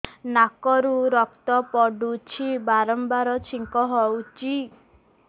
ନାକରୁ ରକ୍ତ ପଡୁଛି ବାରମ୍ବାର ଛିଙ୍କ ହଉଚି